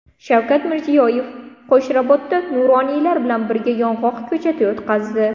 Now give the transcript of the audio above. Shavkat Mirziyoyev Qo‘shrabotda nuroniylar bilan birga yong‘oq ko‘chati o‘tqazdi.